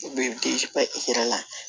I bɛ i yɛrɛ la